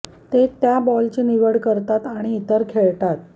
ते त्या बॉलची निवड करतात आणि इतर खेळतात